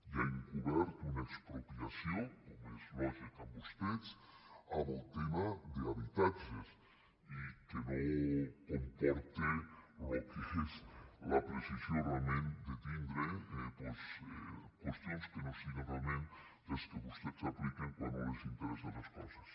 hi ha encober·ta una expropiació com és lògic en vostès en el te·ma d’habitatges i que no comporta el que és la preci·sió realment de tindre doncs qüestions que no siguen realment les que vostès apliquen quan no els interes·sen les coses